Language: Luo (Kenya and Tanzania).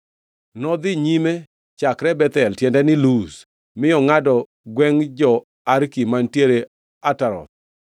Nodhi nyime chakre Bethel (tiende ni, Luz), mi ongʼado gwengʼ jo-Arki mantiere Ataroth,